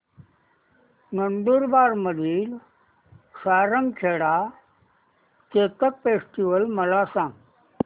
नंदुरबार मधील सारंगखेडा चेतक फेस्टीवल मला सांग